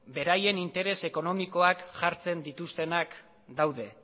beraien interes ekonomikoak jartzen dituztenak daude